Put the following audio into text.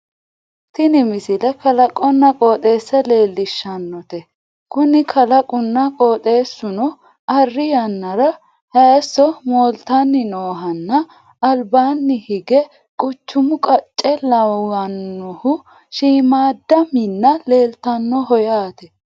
tini misile kalaqonna qooxeessa leellishshannote kuni kalaqunna qooxeessuno arri yannara hayiisso mooltanni noohonna albaanni hige quchumu qacce lawannohu shiimmaadda minna leeltannoho yaate